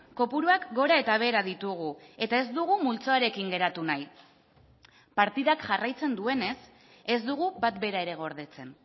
kopuruak gora eta behera ditugu eta ez dugu multzoarekin geratu nahi partidak jarraitzen duenez ez dugu bat bera ere gordetzen